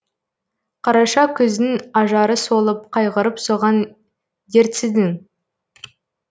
қараша күздің ажары солып қайғырып соған дертсідің